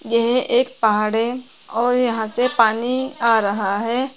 यह एक पहाड़ है और यहां से पानी आ रहा है।